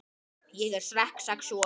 Þær séu skynsamleg leið til sátta